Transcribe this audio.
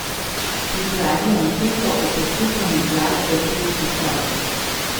Pripravi anketo o poslušanju glasbe prek slušalk.